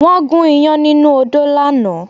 Wọ́n gún ìyán nínú odó lánàá